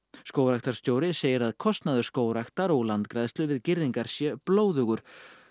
skógræktarstjóri segir að kostnaður skógræktar og landgræðslu við girðingar sé blóðugur